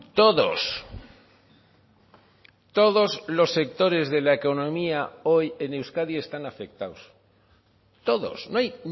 todos todos los sectores de la economía hoy en euskadi están afectados todos no hay